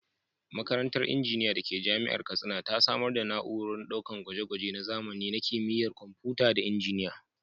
Makarantar Injiniya da ke Jami’ar Katsina ta samar da na’urorin ɗakunan gwaje-gwaje na zamani na Kimiyyar Kwamfuta da Injiniya.